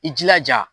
I jilaja